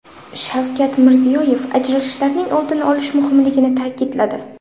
Shavkat Mirziyoyev ajralishlarning oldini olish muhimligini ta’kidladi.